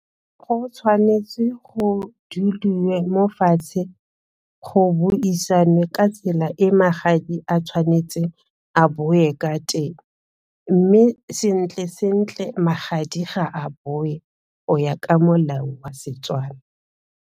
Go tshwanetse go mo fatshe go buisanwe ka tsela e magadi a tshwanetseng a bowe ka teng mme sentle-sentle magadi ga a boe go ya ka molao wa Setswana.